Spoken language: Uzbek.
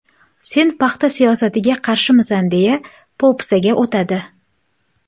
Sen paxta siyosatiga qarshimisan, deya po‘pisaga o‘tadi.